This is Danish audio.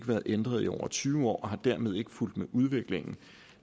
været ændret i over tyve år og den har dermed ikke fulgt med udviklingen